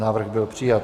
Návrh byl přijat.